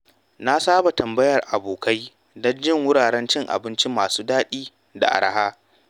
Na saba tambayar abokai don jin wuraren cin abinci masu daɗi da araha.